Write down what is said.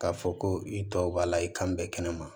K'a fɔ ko i tɔw b'a la i kan bɛ kɛnɛma